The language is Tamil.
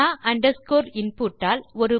Rao underscore input all